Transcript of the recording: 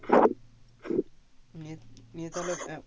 নিয়ে নিয়ে তাহলে